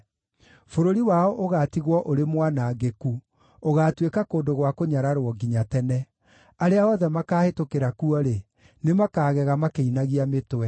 Bũrũri wao ũgaatigwo ũrĩ mwanangĩku, ũgaatuĩka kũndũ gwa kũnyararwo nginya tene; arĩa othe makaahĩtũkĩra kuo-rĩ, nĩmakagega makĩinagia mĩtwe.